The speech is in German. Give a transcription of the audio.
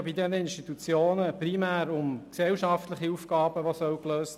Diese Institutionen sollen primär gesellschaftliche Aufgaben lösen.